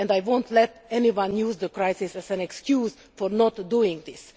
I will not let anyone use the crisis as an excuse for not doing this.